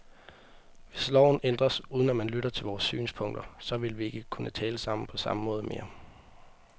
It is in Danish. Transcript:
Hvis loven ændres, uden at man lytter til vores synspunkter, så vil vi ikke kunne tale sammen på samme måde mere.